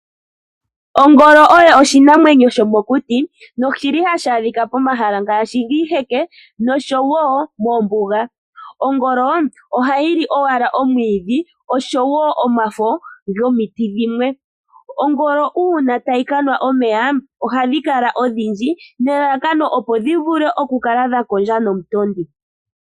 Ongolo Oyo oshinamwenyo shomokuti, noshili hashi adhika pomahala ngaashi oshiheke no showo moombuga. Ongolo oha yili owala omwiidhi oshoyo omafo gomiti dhilwe. Ongolo uuna tayi kanwa omeya ohadhi kala odhindji nelalakano opo dhi vule oku kondja nomutondi.